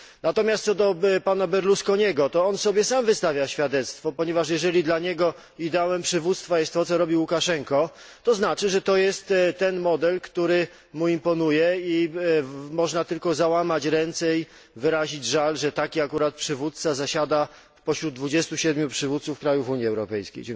Natomiast, co do pana Berlusconiego, to on sam sobie wystawia świadectwa, ponieważ jeśli dla niego ideałem przywództwa jest to, co robi Łukaszenko, to znaczy, że to jest ten model, który mu imponuje i można tylko załamać ręce i wyrazić żal, że taki akurat przywódca zasiada pośród 27 przywódców krajów Unii Europejskiej.